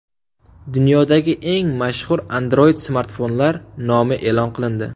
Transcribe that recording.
Dunyodagi eng mashhur Android-smartfonlar nomi e’lon qilindi.